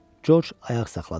George ayaq saxladı.